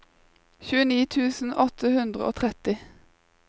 tjueni tusen åtte hundre og tretti